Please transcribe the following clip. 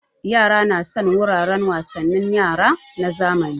Yara na son wuraren wasannin yara na zamani